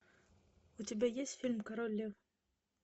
у тебя есть фильм король лев